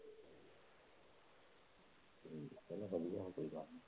ਚੱਲ ਵਧੀਆ ਕੋਈ ਗੱਲ ਨਹੀਂ।